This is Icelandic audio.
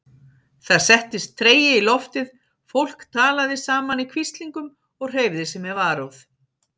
Það settist tregi í loftið, fólk talaði saman í hvíslingum og hreyfði sig með varúð.